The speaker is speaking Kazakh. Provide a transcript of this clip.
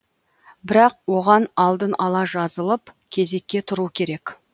бірақ оған алдын ала жазылып кезекке тұру керек